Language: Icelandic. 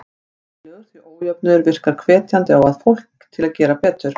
Æskilegur, því ójöfnuður virkar hvetjandi á fólk til að gera betur.